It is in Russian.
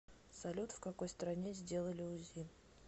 салют в какой стране сделали узи